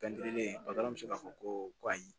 bɛ se k'a fɔ ko ayi